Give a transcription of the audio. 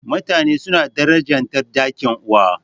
Mutane suna darajanta dangin uwa.